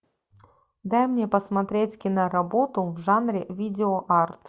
дай мне посмотреть киноработу в жанре видео арт